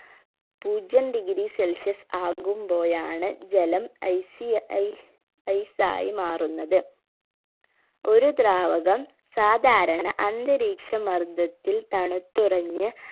പൂജ്യം degree celsius ആകുമ്പോയാണ് ജലം ഐസി ഐ ice ആയി മാറുന്നത് ഒരു ദ്രാവകം സാധാരണ അന്തരീക്ഷ മർദ്ദത്തിൽ തണുത്തുറഞ്ഞ്